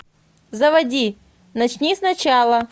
заводи начни сначала